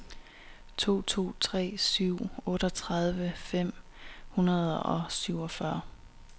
to to tre syv otteogtredive fem hundrede og syvogfyrre